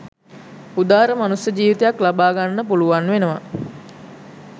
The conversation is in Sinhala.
උදාර මනුස්ස ජීවිතයක් ලබාගන්නට පුළුවන් වෙනවා